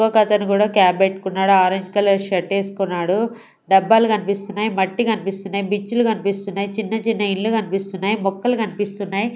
ఇంకొకతను కూడా క్యాప్ పెట్టుకున్నాడు ఆరెంజ్ కలర్ షర్ట్ వేసుకున్నాడు డబ్బాలు కనిపిస్తున్నాయి మట్టి కనిపిస్తున్నాయి బిచ్చులు కనిపిస్తున్నాయి చిన్న చిన్న ఇల్లు కనిపిస్తున్నాయి మొక్కలు కనిపిస్తున్నాయి.